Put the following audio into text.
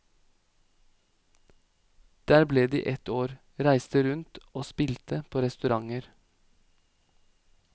Der ble de et år, reiste rundt og spilte på restauranter.